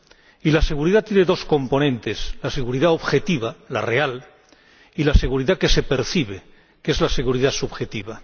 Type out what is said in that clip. Y la seguridad tiene dos componentes la seguridad objetiva —la real— y la seguridad que se percibe, que es la seguridad subjetiva.